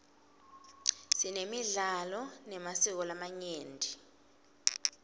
sinemidlalo nemasiko lamanyenti